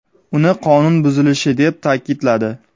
uni qonun buzilishi deb ta’kidladi.